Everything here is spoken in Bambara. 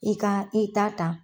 I ka i ta ta.